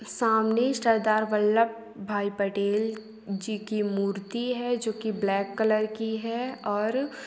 सामने सरदार वल्लभ भाई पटेल जी की मूर्ति है जोकि ब्लैक कलर की है और --